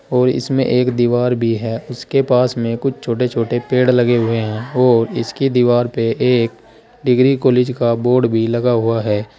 और इसमें एक दीवार भी है उसके पास में कुछ छोटे छोटे पेड़ लगे हुए हैं और इसकी दीवार पे एक डिग्री कॉलेज का बोर्ड भी लगा हुआ है।